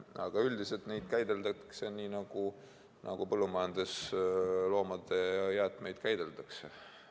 Aga üldiselt neid käideldakse nii, nagu põllumajandusloomade jäätmeid käideldakse.